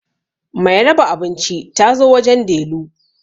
Mai raba abinci ta zo wajen Delu